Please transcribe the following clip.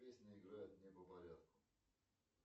песни играть не по порядку